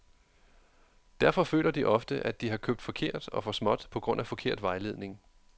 Derfor føler de ofte, at de har købt forkert og for småt på grund af forkert vejledning.